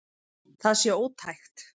Það sé ótækt.